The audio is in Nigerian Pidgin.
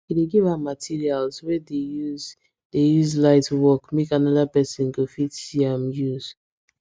he dey give out materials wey dey use dey use light work make another person go fit see am use